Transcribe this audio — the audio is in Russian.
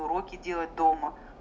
уроки делать дома